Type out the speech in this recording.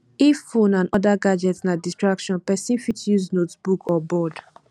if phone and oda gadget na distraction person fit use notebook or board